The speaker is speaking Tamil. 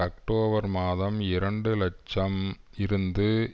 அக்டோபர் மாதம் இரண்டு இலட்சம் இருந்து